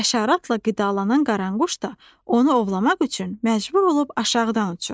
Həşəratla qidalanan qaranquş da onu ovlamaq üçün məcbur olub aşağıdan uçur.